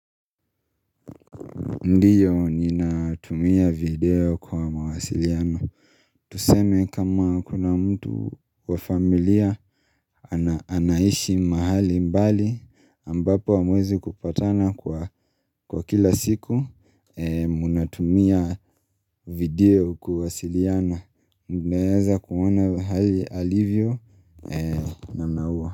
Ndiyo ninatumia video kwa mawasiliano. Tuseme kama kuna mtu wa familia anaishi mahali mbali ambapo amwezi kupatana kwa kila siku. Munatumia video kuwasiliana. Naeza kuona hali alivyo namna ua.